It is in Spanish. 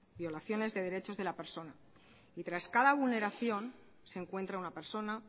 violaciones de los derechos de las persona y tras cada vulneración se encuentra una persona